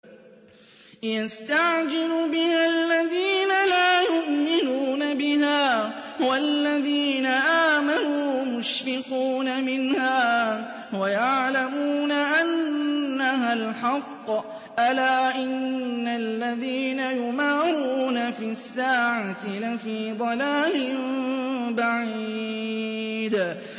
يَسْتَعْجِلُ بِهَا الَّذِينَ لَا يُؤْمِنُونَ بِهَا ۖ وَالَّذِينَ آمَنُوا مُشْفِقُونَ مِنْهَا وَيَعْلَمُونَ أَنَّهَا الْحَقُّ ۗ أَلَا إِنَّ الَّذِينَ يُمَارُونَ فِي السَّاعَةِ لَفِي ضَلَالٍ بَعِيدٍ